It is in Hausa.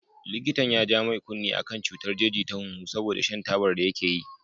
Likitan ya ja mai kunne akan cutar jeji ta hunhu saboda shan tabar da yake yi.